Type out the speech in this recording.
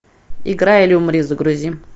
играй или умри загрузи